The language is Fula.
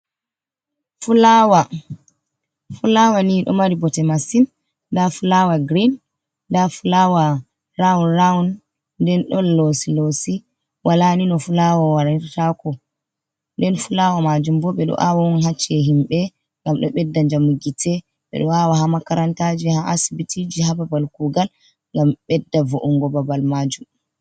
Fulaawa, fulaawa ni ɗo mari bote masin, nda fulaawa girin, nda fulaawa raawun-raawun, nden ɗo loosi-loosi, walaa ni no fulaawa warataako. Nden fulaawa maajum bo, ɓe ɗo aawa on haa ci`e himɓe, ngam ɗo ɓedda njamu gite, ɓe ɗo aawa haa makarantaaji, haa asbitiiji, haa babal kuugal ngam ɓedda vo’ungo babal maajum.